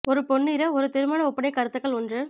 ஒரு பொன்னிற ஒரு திருமண ஒப்பனை கருத்துக்கள் ஒன்று